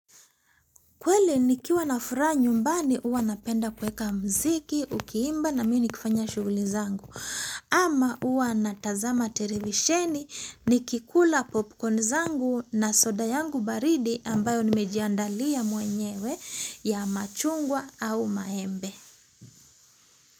Kweli nikiwa na furaha nyumbani huwa napenda kuweka mziki, ukiimba na mimi nikifanya shughuli zangu. Ama huwa natazama televisheni nikikula popcorn zangu na soda yangu baridi ambayo nimejiandalia mwenyewe ya machungwa au maembe.